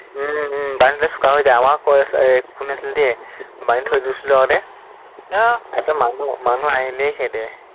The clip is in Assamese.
উম উম বান্ধি থৈ দিলে চোকা হৈ যায়। আমাৰো এৰ কুকুৰ এটা আছিলে দেই, বান্ধি থৈ দিছিলো আগতে, আহ তাৰপিছত মানুহ, মানুহ আহিলেই খেদে।